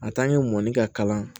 mɔni ka kalan